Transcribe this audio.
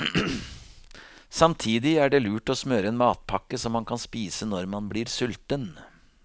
Samtidig er det lurt å smøre en matpakke som man kan spise når man blir sulten.